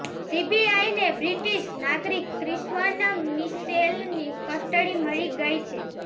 સીબીઆઈને બ્રિટિશ નાગરીક ક્રિશ્વન મિશેલની કસ્ટડી મળી ગઈ છે